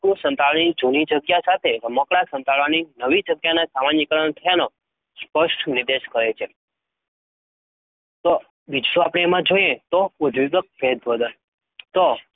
રમકડું સંતાડવાની જૂની જગ્યા સાથે રમકડા સંતાડવાની નવી જગ્યાનું સામાન્યીકરણ થયાનો સ્પષ્ટ નિર્દેશ કરે છે. તો બીજું આપડે એમાં જોઈએ તો ઉદ્દીપક ભેદબોધન તો